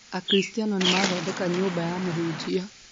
Akristiano nĩ mathondeka nyũmba ya Mũhunjia